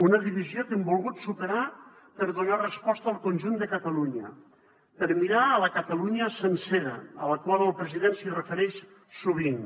una divisió que hem volgut superar per donar resposta al conjunt de catalunya per mirar a la catalunya sencera a la qual el president es refereix sovint